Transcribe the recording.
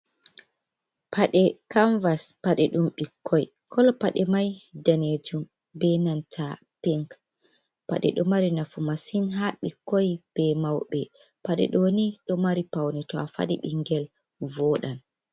Paɗee kanvas, paɗee ɗum ɓikkoi koloo paɗee mai danejum be nanta Pink. Paɗee ɗo mari nafu masin ha ɓikkoi be mauɓ. Paɗee ɗoni ɗo mari Paune to afaɗi ɓingel voɗan.